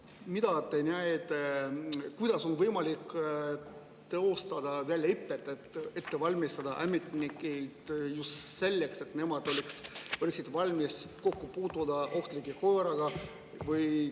Kuidas on teie arvates võimalik teostada väljaõpet, et ette valmistada ametnikke just selleks, et nemad oleksid valmis kokku puutuma ohtliku koeraga?